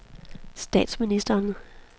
statsministeren